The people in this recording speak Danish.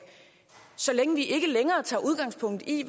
når vi ikke længere tager udgangspunkt i